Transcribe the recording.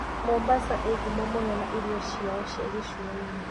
Mombasa iĩ ngumo na irio ciao cia gĩcũa-inĩ.